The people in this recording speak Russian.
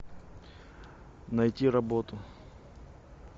найти работу